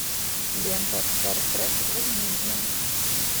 лента стар трек возмездие